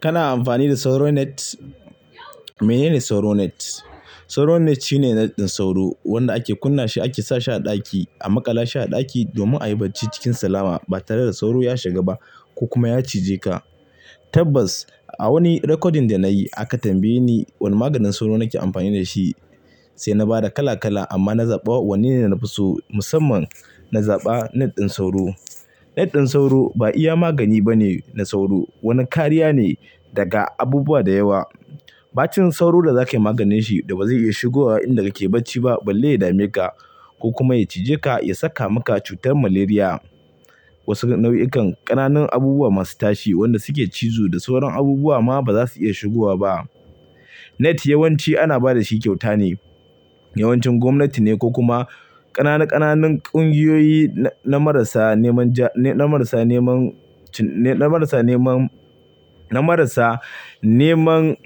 Kana amfani da sauro net? Menene sauro net? Sauro net shine net ɗin sauro wanda ake kunna shi ake sa shi a ɗaki, a maƙala shi a ɗaki domin a yi bacci cikin salama ba tare da sauro ya shiga ba ko kuma ya cije ka. Tabbas a wani recording da na yi aka tambaye ni wane maganin sauro nake amfani da shi. Sai na ba da kala kala amma na zaɓa wannan na fi so, musamman na zaɓa net ɗin sauro. Net ɗin sauro ba iya magani bane na sauro. Wani kariya ne daga abubuwa da yawa. Ɓacin sauro da za kai maganin shi da ba zai iya shigowa in da kake bacci ba, balle ya dame ka ko kuma ya cije ka ya saka maka cutar malaria. Wasu nau'ikan ƙananan abubuwa masu tashi wanda suke cizo da sauran abubuwa ma ba za su iya shigowa ba. Net yawanci ana ba da shi kyauta ne. Yawancin gwamnati ne ko kuma ƙananan ƙananan ƙungiyoyi na marasa neman ja, na marasa neman, na marasa neman, na marasa neman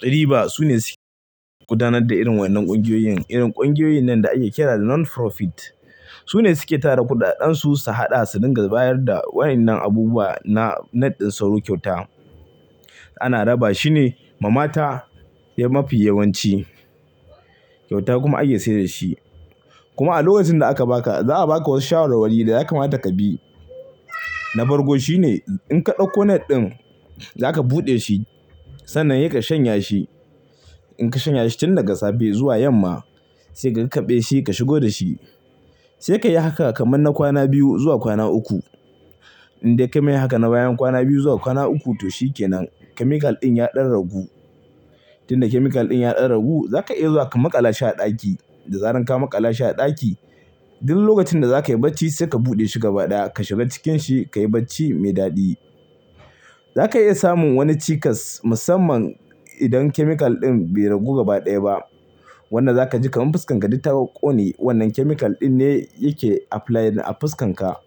riba sune suke gudanar da irin waɗannan ƙungiyoyin. Irin ƙungiyoyin nan da ake kira non profit. Sune suke tara kuɗaɗen su su haɗa su dinga bayar da waɗannan abubuwa na net ɗin sauro kyauta. Ana raba shi ne ma mata mafi yawanci. Kyauta kuma ake sayar da shi. Kuma a lokacin da aka ba ka za a ba ka wasu shawarwari da zaka mata ka bi. Na farko shi ne in ka ɗauko net ɗin za ka buɗe shi sannan ya ka shanya shi. In ka shanya shi tun daga safe zuwa yamma sai ka kaɓe shi ka shigo da shi. Sai ka yi haka kamar na kwana biyu zuwa kwana uku. Inde kayi mai haka na bayan kwana biyu zuwa kwana uku to shi kenan chemical ɗin ya ɗan ragu. Tun da chemical ɗin ya ɗan ragu za ka iya zuwa ka maƙala shi a ɗaki. Da zaran ka maƙala shi a ɗaki, duk lokacin da za ka yi bacci sai ka buɗe shi gaba ɗaya ka shiga cikin shi ka yi bacci mai daɗi. Za ka iya samun wani cikas musamman idan chemical ɗin bai ragu gaba ɗaya ba wanda za ka ji kamar fuskar ka duk ta ƙone. Wannan chemical ɗin ne yake apply a fuskar ka.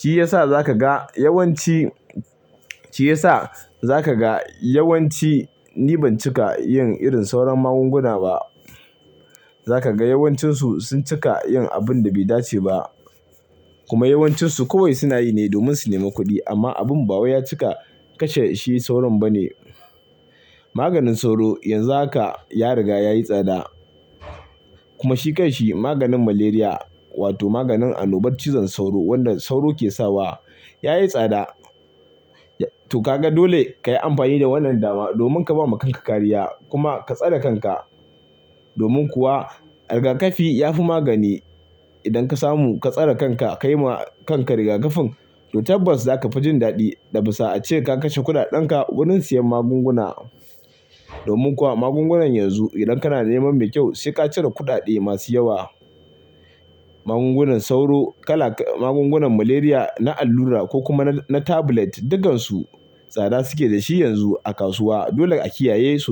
Shi ya sa za ka ga yawanci, shi ya sa za ka ga yawanci ni ban cika yin irin sauran magunguna ba. Za ka ga yawancinsu sun cika yin abin da bai dace ba kuma yawancinsu kawai suna yi ne domin su nema kuɗi amma abin ba waye ya cika kashe shi sauron ba ne. Maganin sauro yanzu haka ya riga ya yi tsada kuma shi kanshi maganin malaria wato maganin annobar cizon sauro wanda sauro ke sawa ya yi tsada. To ka ga dole ka yi amfani da wannan dama domin ka ba ma kanka kariya kuma ka tsare kanka. Domin kuwa rigakafi yafi magani. Idan ka samu ka tsare kanka ka yi ma kanka rigakafin to tabbas za ka fi jin daɗi. Dabi'sa ce ka kashe kuɗaɗen ka wurin siyan magunguna. Domin kuwa magungunan yanzu idan kana neman mai kyau sai ka cire kuɗaɗe masu yawa. Magungunan sauro kala, magungunan malaria na allura ko kuma na tablet dukkan su tsada suke da shi yanzu a kasuwa. Dole a kiyaye su.